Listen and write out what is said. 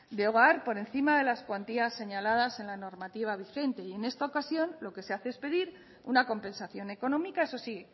de hogar por encima de las cuantías señaladas en la normativa vigente y en esta ocasión lo que se hace es pedir una compensación económica eso sí